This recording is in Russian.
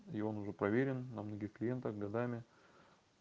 и он уже проверен на многих клиентах годами